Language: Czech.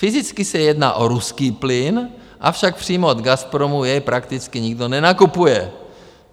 Fyzicky se jedná o ruský plyn, avšak přímo od Gazpromu jej prakticky nikdo nenakupuje.